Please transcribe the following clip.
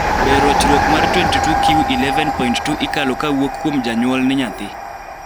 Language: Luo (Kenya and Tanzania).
be ruchruok mar 22q11.2 ikalo kawuok kuom janyul ne nyathi?